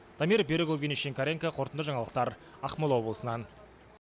дамир берікұлы евгений шинкаренко қорытынды жаңалықтар ақмола облысынан